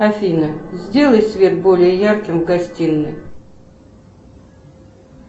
афина сделай свет более ярким в гостиной